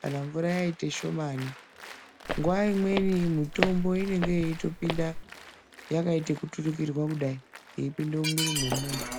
kana mvura yaite shomani. Nguwa imweni mitombo inenge yeitopinda yakaita ekuturikirwa kudai, yeipinde mumwiri mwemunthu.